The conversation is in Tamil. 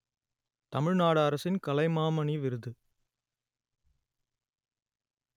தமிழ் நாடு அரசின் கலைமாமணி விருது